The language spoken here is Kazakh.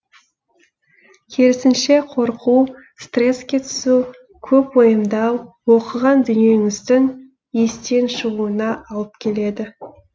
керісінше қорқу стресске түсу көп уайымдау оқыған дүниеңіздің естен шығуына алып келеді